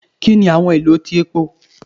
Kini awọn ilo ti epo?